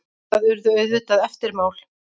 Það urðu auðvitað eftirmál.